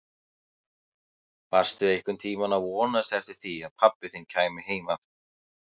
Varstu einhvern tíma að vonast eftir því að pabbi þinn kæmi heim aftur?